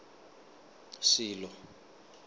silo